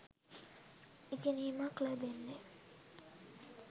ඉගෙනීමක් ලැබෙන්නේ.